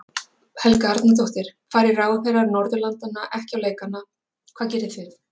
Helga Arnardóttir: Fari ráðherrar Norðurlandanna ekki á leikana hvað gerið þið?